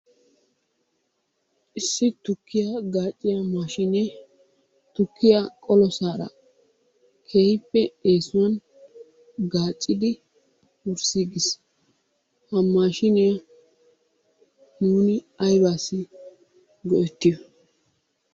Issi tukkiya gaaciya maashshinee tukkiya qolossaara keehippe eessuwan gaacidi wurssiigis. Ha maashiniya nuuni aybbassi go"ettiyo?